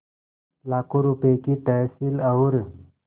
लाखों रुपये की तहसील और